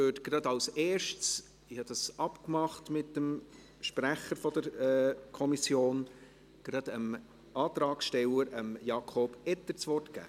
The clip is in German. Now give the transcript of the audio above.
Wir haben dort einen Antrag, und ich habe mit dem Sprecher der Kommission abgemacht, dass ich zuerst dem Antragsteller Jakob Etter das Wort gebe.